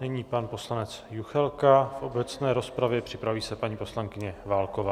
Nyní pan poslanec Juchelka v obecné rozpravě, připraví se paní poslankyně Válková.